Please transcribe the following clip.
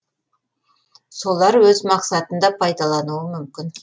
солар өз мақсатында пайдалануы мүмкін